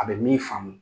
A bɛ min faamu